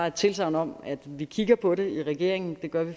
et tilsagn om at vi kigger på det i regeringen det gør vi